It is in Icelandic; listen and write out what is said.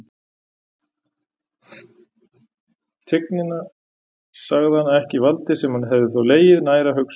Tignina, sagði hann, ekki valdið, sem hefði þó legið nær að hugsa um.